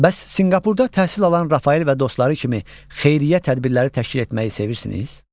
Bəs Sinqapurda təhsil alan Rafael və dostları kimi xeyriyyə tədbirləri təşkil etməyi sevirsiniz?